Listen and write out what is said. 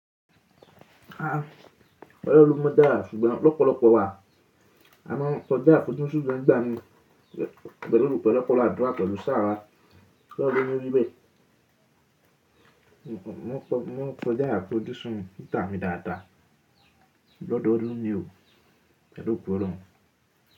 À, ọ̀pọ̀lọpọ̀ ọmọ dàrà sùgbọ́n lọ́pọ̀lọpọ̀ wà. À máa ń kọjá afojusún gan nigbà mí pẹ̀lú ọ̀pọ̀lọpọ̀ àdúrà pẹ̀lú ṣàarà kí ólohun je ko rí bẹ́ẹ̀. Mọ́ maa n kọjá afojusún nigba mi dàda. Ọ̀dọ̀ọ̀dun ní o. Pelù ọ̀go olorun.